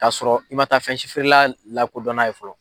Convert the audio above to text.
K'a sɔrɔ i ma taa fɛn si feerela lakodɔnna ye fɔlɔ